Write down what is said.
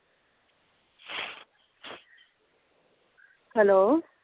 hello